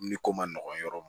Ni ko ma nɔgɔn yɔrɔ min